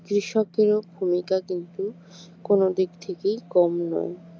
কৃষকের ও ভূমিকা কিন্তু কোন দিক থেকেই কম নয়